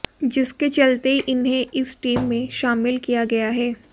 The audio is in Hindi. जिसके चलते इन्हें इस टीम में शामिल किया गया है